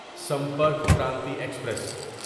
Sampark Kranti express